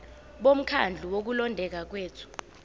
bomkhandlu wokulondeka kwethu